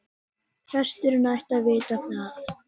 Presturinn ætti að vita það.